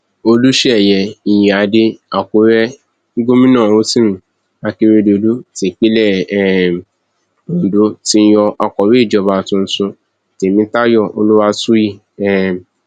olùṣeyẹ ìyíáde àkúrẹ gómìnà rotimi akérèdọlù tipinlẹ um ondo ti yan akọwé ìjọba tuntun tèmítayọ olúwàtúyí um